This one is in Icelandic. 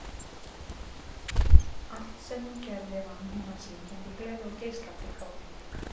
Allt sem hún gerði vann hún af syngjandi gleði og geislandi kátínu.